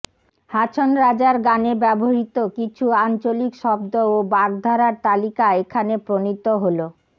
হাছন রাজার গানে ব্যবহৃত কিছু আঞ্চলিক শব্দ ও বাগ্ধারার তালিকা এখানে প্রণীত হলোঃ